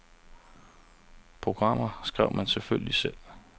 Programmer skrev man selvfølgelig selv.